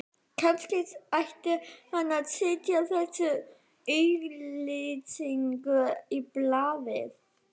Kannski ætti hann að setja þessa auglýsingu í blaðið